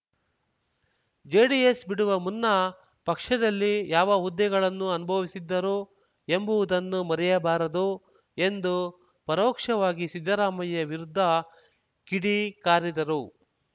JDS ಬಿಡುವ ಮುನ್ನ ಪಕ್ಷದಲ್ಲಿ ಯಾವ ಹುದ್ದೆಗಳನ್ನು ಅನುಭವಿಸಿದ್ದರು ಎಂಬುವುದನ್ನು ಮರೆಯಬಾರದು ಎಂದು ಪರೋಕ್ಷವಾಗಿ ಸಿದ್ದರಾಮಯ್ಯ ವಿರುದ್ಧ ಕಿಡಿಕಾರಿದರು